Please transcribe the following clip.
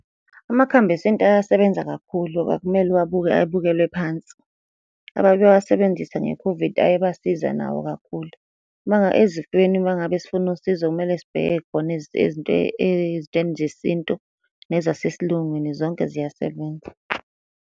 Amakhambi esintu ayasebenza kakhulu, akumele uwabuke, abukelwe phansi. Ababewasebenzisa nge-COVID ayabasiza nawo kakhulu. Ezifweni uma ngabe sifuna usizo kumele sibheke khona ezintweni zesintu, nezasesilungwini zonke ziyasebenza.